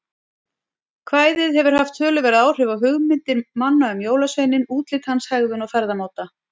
Kvæðið hefur haft töluverð áhrif á hugmyndir manna um jólasveininn, útlit hans, hegðun og ferðamáta.